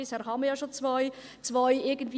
– Bisher waren ja schon zwei Sonntage möglich.